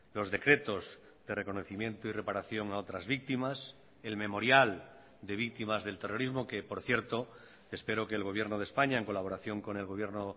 los decretos de reconocimiento y reparación a otras víctimas el memorial de víctimas del terrorismo que por cierto espero que el gobierno de españa en colaboración con el gobierno